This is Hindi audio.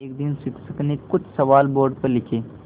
एक दिन शिक्षक ने कुछ सवाल बोर्ड पर लिखे